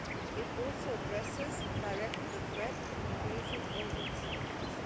It also addresses directly the threat from invasive alien species.